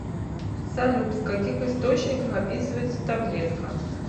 салют в каких источниках описывается таблетка